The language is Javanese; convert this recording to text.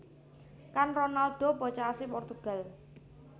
Kan Ronaldo bocah asli Portugal